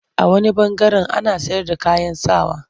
A wani ɓangaren ana sayarda kayan sa wa.